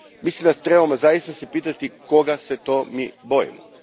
Mislim da se trebamo zaista zapitati koga se to mi bojimo.